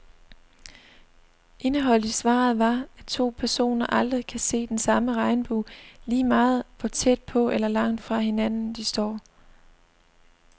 Indeholdt i svaret var, at to personer aldrig kan se den samme regnbue, lige meget hvor tæt på eller langt fra hinanden, de står.